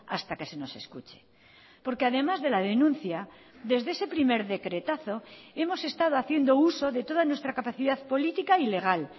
hasta que se nos escuche porque además de la denuncia desde ese primer decretazo hemos estado haciendo uso de toda nuestra capacidad política ilegal